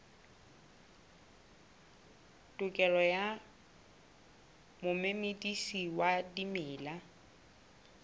tokelo ya momedisi wa dimela